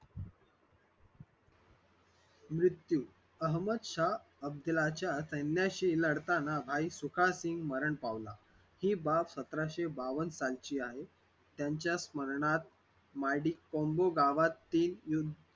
मृत्यू अहमद शहा अफजलाच्या सैन्याशी लढताना भाई सुखासिन्ग मरण पावला हि बाब सतराशे बावन सालची आहे त्यांच्या स्मरणार्थ मादी कुम्बो गावातील युद्ध